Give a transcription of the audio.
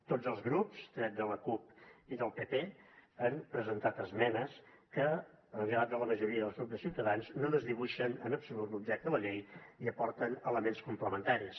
tots els grups tret de la cup i del pp han presentat esmenes que llevat de la majoria del grup de ciutadans no desdibuixen en absolut l’objecte de la llei i aporten elements complementaris